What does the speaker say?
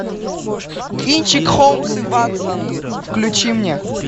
кинчик холмс и ватсон включи мне